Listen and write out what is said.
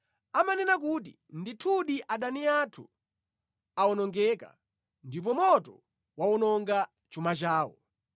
Amanena kuti, ‘Ndithudi adani athu awonongeka ndipo moto wawononga chuma chawo!’